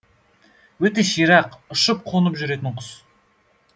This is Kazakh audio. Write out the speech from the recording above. өте ширақ ұшып қонып жүретін құс